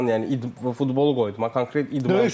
Yəni futbolu qoy idman, konkret idmançı.